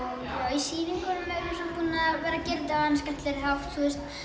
í sýningunum erum við búin að vera að gera þetta á skemmtilegri hátt